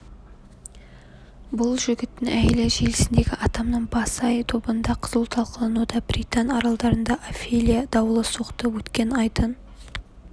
бұл жігіттің әйелі желісіндегі атамның басы-ай тобында қызу талқылануда британ аралдарында офелия дауылы соқты өткен айдың